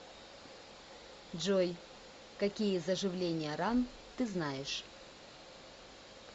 джой какие заживление ран ты знаешь